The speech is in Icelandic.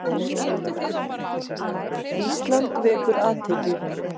Ísland vekur athygli